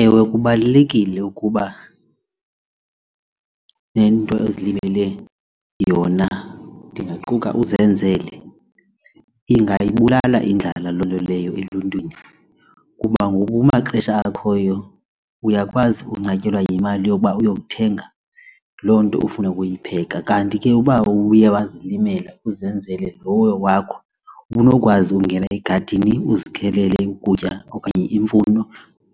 Ewe, kubalulekile ukuba nento azilimele yona ndingaquka uzenzele ingayibulala indlala loo nto leyo eluntwini, kuba ngoku kumaxesha akhoyo uyakwazi unqatyelwa yimali yoba uyothenga loo nto ufuna ukuyipheka kanti ke uba uye wazilimela uzenzele lowo wakho unokwazi ungena egadini uzikhelele ukutya okanye iimfuno